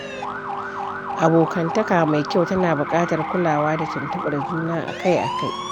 Abokantaka mai kyau tana buƙatar kulawa da tuntuɓar juna akai-akai.